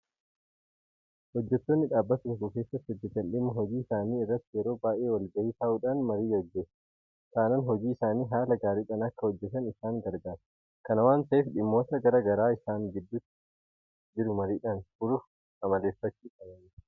Hojjettoonni dhaabbata tokko keessa hojjetan dhimma hojii isaanii irratti yeroo baay'ee walgahii taa'uudhaan marii gaggeessh taanaan hojii isaanii haala gaariidhaan akka hojjetatan isaan gargaara. Kana waanta ta'eef dhimmoota garaa garaa isaan gidduu jiru mariidhaan furuun amaleeffatamuu qaba jechuudha.